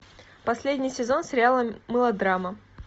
последний сезон сериала мылодрама